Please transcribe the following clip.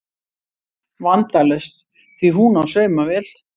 Vandalaust því hún á saumavél